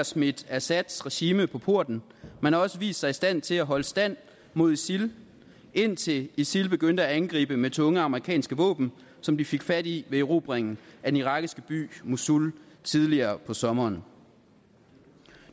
smidt assads regime på porten men man har også vist sig i stand til at holde stand mod isil indtil isil begyndte at angribe med tunge amerikanske våben som de fik fat i ved erobringen af den irakiske by mosul tidligere på sommeren